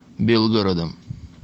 белгородом